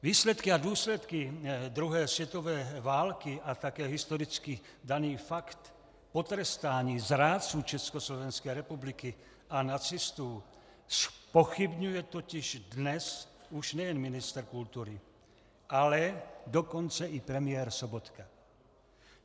Výsledky a důsledky druhé světové války a také historicky daný fakt potrestání zrádců Československé republiky a nacistů zpochybňuje totiž dnes už nejen ministr kultury, ale dokonce i premiér Sobotka.